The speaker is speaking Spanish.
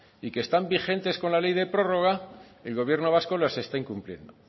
y que están vigentes con la ley de prórroga el gobierno vasco las está incumpliendo